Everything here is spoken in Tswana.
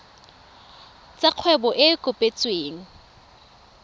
tsa kgwebo e e kopetsweng